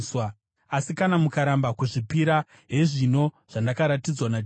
Asi kana mukaramba kuzvipira, hezvino zvandakaratidzwa naJehovha.